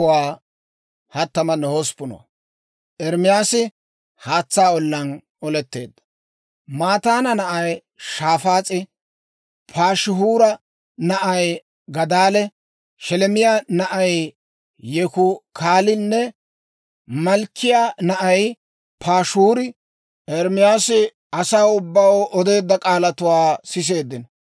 Mataana na'ay Shafaas'e, Paashihuura na'ay Gadaalee, Sheleemiyaa na'ay Yehukaalinne Malkkiyaa na'ay Paashihuuri Ermaasi asaa ubbaw odeedda k'aalatuwaa siseeddino.